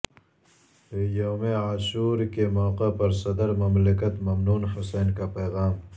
یوم عاشورکے موقع پر صدرمملکت ممنون حسین کا پیغام